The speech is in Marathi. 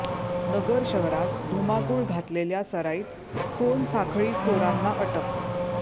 नगर शहरात धुमाकुळ घातलेल्या सराईत सोनसाखळी चोरांना अटक